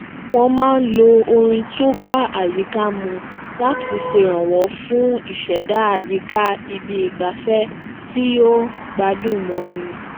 wón máa ń lo orin to ba ayika mu láti ṣeranwọ fun iṣẹda àyíká ibi igbafẹ ti yoo gbádùn móni